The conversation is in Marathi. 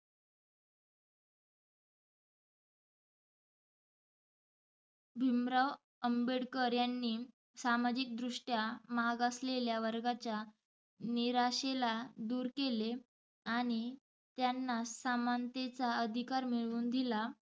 भिमराव आंबेडकर यांनी सामाजिक दृष्टया मागासलेल्या वर्गाच्या निराशीला दुर केले आणि त्यांना समानतेचा अधिकार मिळवुन दिला.